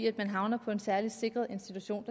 at man havner på en særlig sikret institution